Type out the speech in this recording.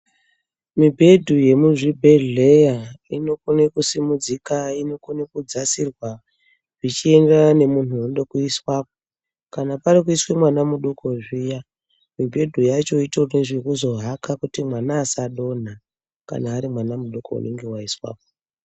Mubhedhu yemuzvibhehleya inokone kusimudzika inokone kudzasirwa zvichienderana nemunhu unode kuiswapo. Kana parikuiswe mwana mudoko zviya mubhedhu yacho itori nezvekuzohaka kuti mwana asadonha kana ari mwana mudoko unenge waiswapo.